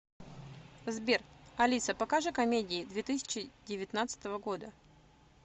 сбер алиса покажи комедии две тысячи девятнадцатого года